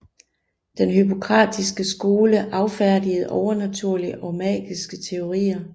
Den Hippokratiske skole affærdigede overnaturlige og magiske teorier